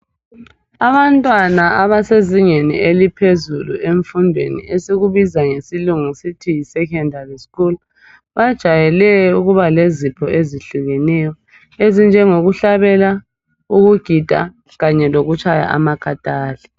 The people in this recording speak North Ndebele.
Abantwana abasezingeni eliphezulu emfundweni esikubiza ngesilungu sithi secondary school bajayele ukuba lezipho ezehlukeneyo ezinjengokuhlabela, ukugida kanye lokutshaya amakathali.